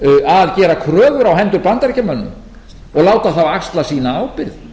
að gera kröfur á hendur bandaríkjamönnum og láta þá axla sína ábyrgð